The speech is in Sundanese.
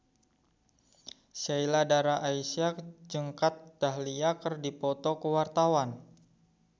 Sheila Dara Aisha jeung Kat Dahlia keur dipoto ku wartawan